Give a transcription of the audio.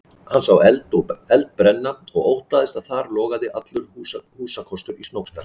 Hann sá eld brenna og óttaðist að þar logaði allur húsakostur í Snóksdal.